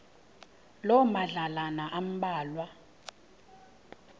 loo madlalana ambalwa